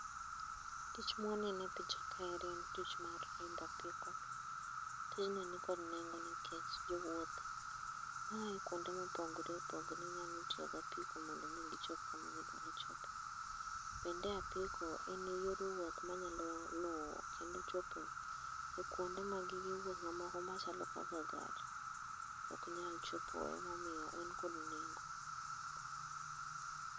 Tich mwaneno e picha kaeri en tich mar riembo apiko. Tijni nikod nengo nikech jowuoth ma ae kuonde mopogre opogre nyalo tiyo gapiko mondo mi ochop kama gidwaro chope. Kendo apiko en e yor wuoth manyalo luwo kendo chopo e kwonde ma gige wuoth mamoko machalo kaka gari ok nyal chopoe emomiyo en kod nengo.